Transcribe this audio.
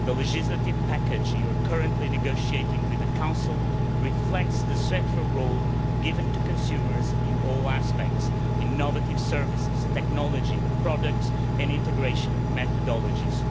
The legislative package you are currently negotiating with the Council reflects the central role given to consumers in all aspects innovative services, technology, products and integration methodologies.